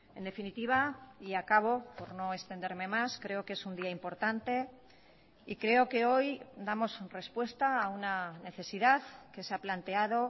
en definitiva y acabo por no extenderme más creo que es un día importante y creo que hoy damos respuesta a una necesidad que se ha planteado